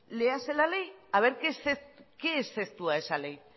léase la ley a ver qué exceptúa esa ley